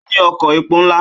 Ó ní ọkọ̀ epo ńlá.